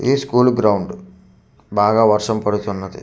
ఇది school ground బాగా వర్షం పడుతున్నది సరస్వతి--